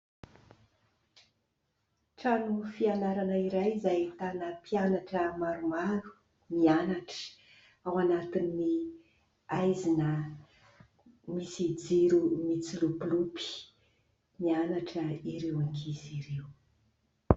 Trano fianarana iray izay ahitana mpianatra maromaro, mianatra ao anatin'ny haizina, misy jiro mitsilopilopy. Mianatra ireo ankizy ireo.